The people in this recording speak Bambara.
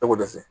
Tɛko dɛsɛ